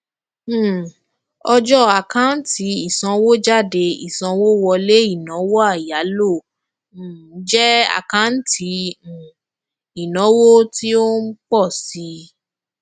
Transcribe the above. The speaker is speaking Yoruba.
um ọjọ àkáǹtì ìsanwójáde ìsanwówọlé inawo ìyálò um jẹ àkáǹtì um ìnáwó tí ó ń ń pọ síi